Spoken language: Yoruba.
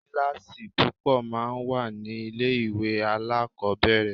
Kíláàsì púpọ̀ máa ń wà ní ilé ìwé alákọ̀ọ́bẹ̀rẹ̀.